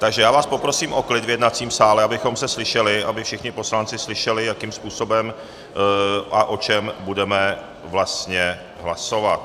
Takže já vás poprosím o klid v jednacím sále, abychom se slyšeli, aby všichni poslanci slyšeli, jakým způsobem a o čem budeme vlastně hlasovat.